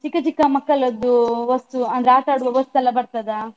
ಚಿಕ್ಕ ಚಿಕ್ಕ ಮಕ್ಕಳದ್ದು ವಸ್ತು ಅಂದ್ರೆ ಆಟ ಆಡುವ ವಸ್ತು ಎಲ್ಲ ಬರ್ತದಾ?